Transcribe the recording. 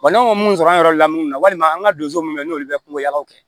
Wa n'an man mun sɔrɔ an yɛrɛ lamini na walima an ka donso minnu na n'olu bɛ kungo jagaw kɛ